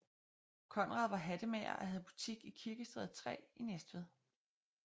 Conrad var hattemager og havde butik i Kirkestræde 3 i Næstved